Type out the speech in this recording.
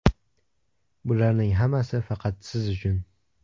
Bularning hammasi faqat siz uchun.